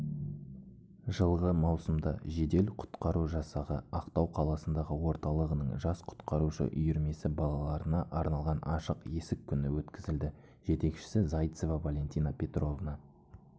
жылғы маусымда жедел-құтқару жасағы ақтау қаласындағы орталығының жас құтқарушы үйірмесі балаларына арналған ашық есік күні өткізілді жетекшісі зайцева валентина петровна